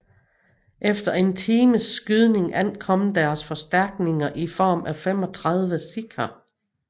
Efter en times skydning ankom deres forstærkninger i form af 35 sikher